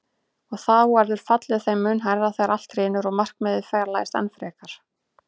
Og þá verður fallið þeim mun hærra þegar allt hrynur og markmiðið fjarlægist enn frekar.